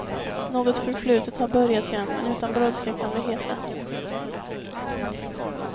Något förflutet har börjat igen, men utan brådska kan det heta.